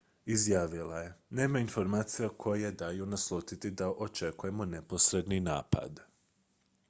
"izjavila je: "nema informacija koje daju naslutiti da očekujemo neposredni napad.